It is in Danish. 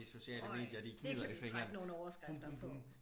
Øj det kan vi trække nogen overskrifter på